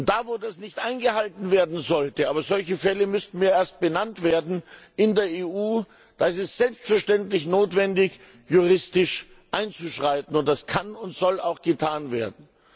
Da, wo das nicht eingehalten werden sollte aber solche Fälle in der EU müssten mir erst benannt werden ist es selbstverständlich notwendig, juristisch einzuschreiten, und das kann und soll auch getan werden.